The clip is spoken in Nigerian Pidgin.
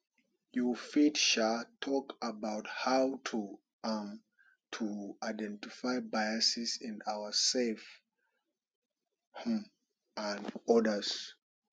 you fit sha talk about how um to identify biases in ourselves um and odas